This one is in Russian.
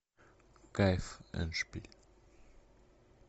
кайф эндшпиль